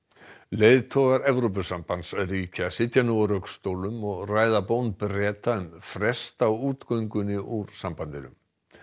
leiðtogar Evrópusambandsríkja sitja nú á rökstólum og ræða bón Breta um frest á úr sambandinu